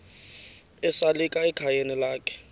esalika ekhayeni lakhe